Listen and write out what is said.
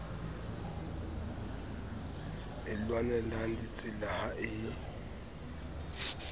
e lwanelang ditsela ha e